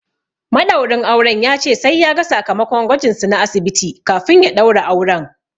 Maɗaurin auren ya ce sai ya ga sakamakon gwajin su na asibiti kafin ya ɗaura auren.